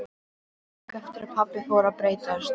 Löngu eftir að pabbi fór að breytast.